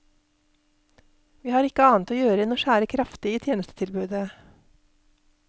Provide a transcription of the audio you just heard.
Vi har ikke annet å gjøre enn å skjære kraftig i tjenestetilbudet.